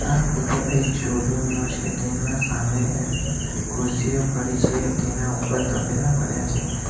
આ ફોટો એક store room નો છે તેના સામે એફ ખુરશીઓ પડી છે તેના ઉપર તપેલા પડ્યા છે.